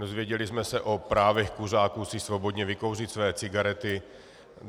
Dozvěděli jsme se o právech kuřáků si svobodně vykouřit své cigarety.